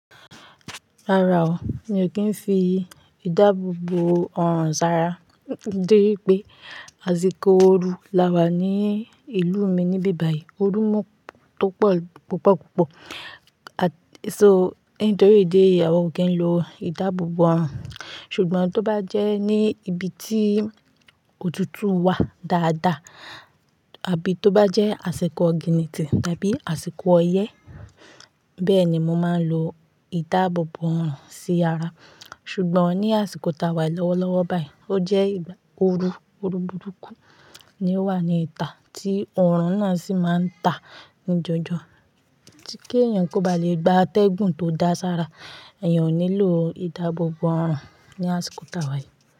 Rárá o, mi ò kí ń fi ìdáàbòbò ọrùn sára, dé wí pé àsìkò ooru là wà ní ìlú mi níbí báyìí. Ooru mú tó pọ̀ púpọ̀ púpọ̀. So, nítorí ìdí eyi, àwọn ò kí ń lo ìdáàbòbò ọrùn. Ṣùgbọ́n tó bá jẹ́ ní ibi tí òtútù wà dáadáa, àbí tó bá jẹ́ àsìkò ogínìtì tàbí àsìkò ọyẹ́, bẹ́ẹ̀ ni mo máa ń lo ìdáàbòbò ọrùn sí ara. Ṣùgbọ́n ní àsìkò ta wà lọ́wọ́lọ́wọ́ báyìí, ó jẹ́ ìgbà ooru, ooru burúkú ni ó wà ní ìta, tí ọrùn náà sì máa ń ta ní jọjọ. Tí kí ẹ̀yàn kó ba lè gba atẹ́gùn tó dáa sára, ẹ̀yàn ò nílò ìdáàbòbò ọrùn ní àsìkò ta wà yìí.